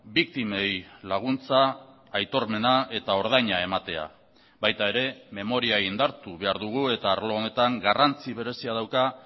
biktimei laguntza aitormena eta ordaina ematea baita ere memoria indartu behar dugu eta arlo honetan garrantzi berezia dauka